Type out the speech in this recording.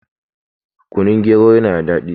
kunun gero yana da daɗi